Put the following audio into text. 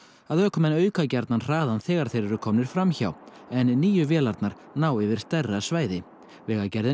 að ökumenn auka gjarnan hraðann þegar þeir eru komnir fram hjá en nýju vélarnar ná yfir stærra svæði vegagerðin